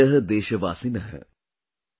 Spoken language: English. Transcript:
Mam Priya: Deshvasin: